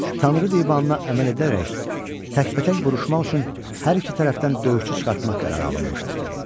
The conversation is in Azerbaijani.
Tanrı divanına əməl edərək təkbətək vuruşmaq üçün hər iki tərəfdən döyüşçü çıxartmaq qərarı alınmışdı.